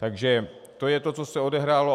Takže to je to, co se odehrálo.